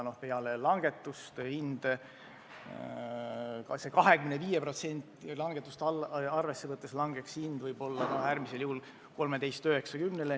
Kui langetada aktsiisi 25%, langeks hind võib-olla ka äärmisel juhul 13.90-le.